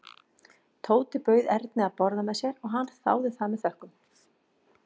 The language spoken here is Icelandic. Tóti bauð Erni að borða með sér og hann þáði það með þökkum.